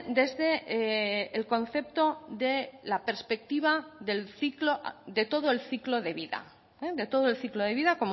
desde el concepto de la perspectiva del ciclo de todo el ciclo de vida de todo el ciclo de vida